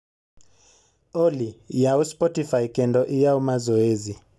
olly yaw spotify kendo iyaw mazoezi